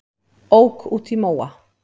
Ók út í móa